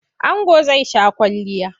Ango zai sha kwalliya.